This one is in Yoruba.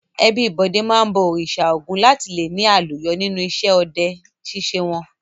Ẹbí Bọ̀dé máa ń bọ Òrìṣà Ògún láti le ní àlùyọ nínú iṣẹ́ ọdẹ ṣíṣe wọn.